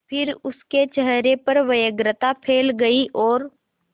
फिर उसके चेहरे पर व्यग्रता फैल गई और